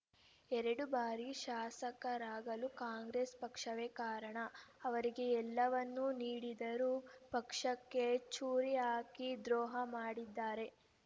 ಎರಡು ಬಾರಿ ಶಾಸಕರಾಗಲು ಕಾಂಗ್ರೆಸ್ ಪಕ್ಷವೇ ಕಾರಣ ಅವರಿಗೆ ಎಲ್ಲವನ್ನೂ ನೀಡಿದ್ದರೂ ಪಕ್ಷಕ್ಕೆ ಚೂರಿ ಹಾಕಿ ದ್ರೋಹ ಮಾಡಿದ್ದಾರೆ